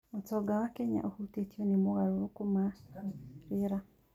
ũtonga wa Kenya ũhutĩtio nĩ mogarũrũku ma rĩera.